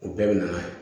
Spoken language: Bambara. U bɛɛ bɛ na n'a ye